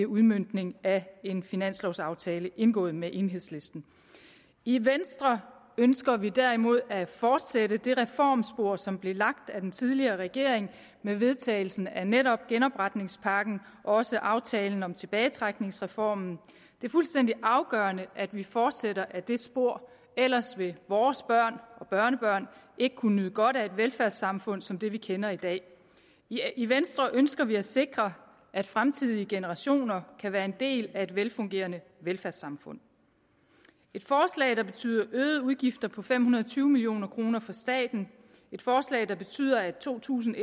udmøntning af en finanslovaftale indgået med enhedslisten i venstre ønsker vi derimod at fortsætte det reformspor som blev lagt af den tidligere regering med vedtagelsen af netop genopretningspakken og også aftalen om tilbagetrækningsreformen det er fuldstændig afgørende at vi fortsætter ad det spor ellers vil vores børn og børnebørn ikke kunne nyde godt af et velfærdssamfund som det vi kender i dag i venstre ønsker vi at sikre at fremtidige generationer kan være en del af et velfungerende velfærdssamfund et forslag der betyder øgede udgifter på fem hundrede og tyve million kroner for staten et forslag der betyder at to tusind